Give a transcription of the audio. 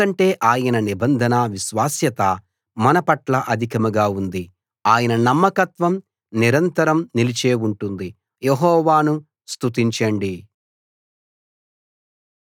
ఎందుకంటే ఆయన నిబంధన విశ్వాస్యత మన పట్ల అధికంగా ఉంది ఆయన నమ్మకత్వం నిరంతరం నిలిచే ఉంటుంది యెహోవాను స్తుతించండి